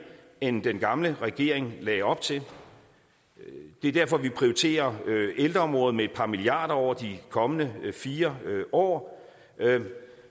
end den gamle regering lagde op til det er derfor vi prioriterer ældreområdet med et par milliarder over de kommende fire år